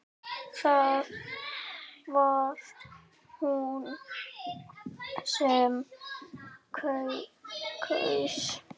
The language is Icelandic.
Það var hún sem kaus!